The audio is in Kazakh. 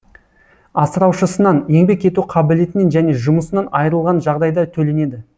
асыраушысынан еңбек ету қабілетінен және жұмысынан айырылған жағдайда төленеді